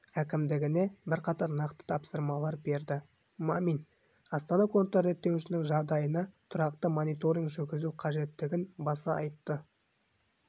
әкімдігіне бірқатар нақты тапсырмалар берді мамин астана контрреттеуішінің жағдайына тұрақты мониторинг жүргізу қажеттігін баса айтты